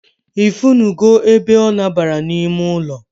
I funu go ebe o nabara na ime ụlọ